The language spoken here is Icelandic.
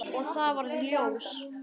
Og það varð ljós.